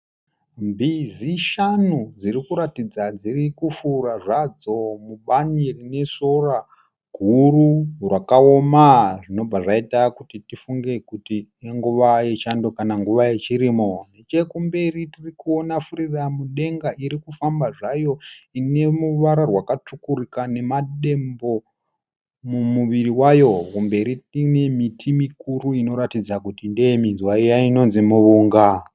Mbizi shanu dzirikuratidza dziri kufura zvadzo mubani rine sora guru rakaoma zvinobva zvaita kuti tifunge kuti inguva yechando kana nguva yechirimo nechekumberi tiri kuona furiramudenga irikufamba zvayo ine ruwara rwa katsvukuruka nemadembo mumuviri wayo mberi kune miti mikuru inoratidza kuti ndeye muunga.